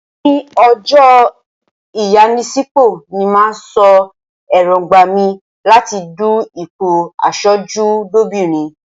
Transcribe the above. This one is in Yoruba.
Ní ọjọ́ ìyanisípò ni màá sọ èróńgbà mi láti du ipò aṣojú lóbìnrin.